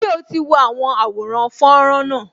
Ṣé o ti wo àwọn àwòrán fọ́nrán náà